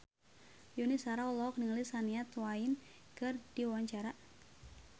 Yuni Shara olohok ningali Shania Twain keur diwawancara